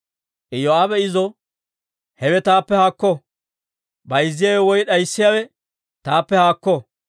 Iyoo'aabe izo, «Hewe taappe haakko! Bayzziyaawe woy d'ayssiyaawe taappe haakko!